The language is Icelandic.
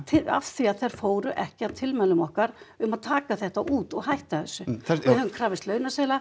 af því að þær fóru ekki að tilmælum okkar um að taka þetta út og hætta þessu við höfum krafist launaseðla